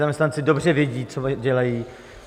Zaměstnanci dobře vědí, co dělají.